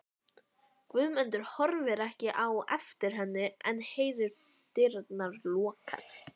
Guðmundur horfir ekki á eftir henni en heyrir dyrnar lokast.